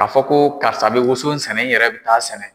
K'a fɔ ko karisa bɛ woson sɛnɛ n yɛrɛ bɛ t'a sɛnɛ.